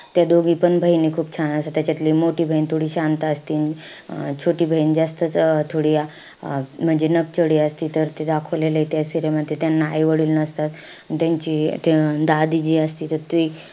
त्या दोघीपण बहिणी खूप छान असता. त्याच्यातली मोठी बहीण थोडी शांत असती अं छोटी बहीण जास्तच अं थोडी अं म्हणजे नकचडी असती. तर ते दाखवलेलंय त्या serial मध्ये. त्यांना आई वडील नसतात. त्यांची ते अं जे असती त ती,